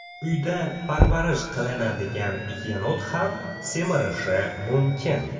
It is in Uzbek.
Uyda parvarish qilinadigan yenot ham semirishi mumkin.